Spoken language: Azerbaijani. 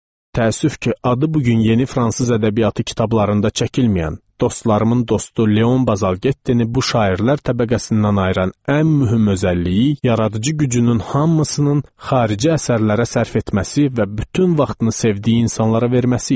Təəssüf ki, adı bu gün yeni fransız ədəbiyyatı kitablarında çəkilməyən, dostlarımın dostu Leon Bazalgettini bu şairlər təbəqəsindən ayıran ən mühüm özəlliyi yaradıcı gücünün hamısının xarici əsərlərə sərf etməsi və bütün vaxtını sevdiyi insanlara verməsi idi.